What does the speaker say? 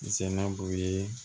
Sɛnɛ b'u ye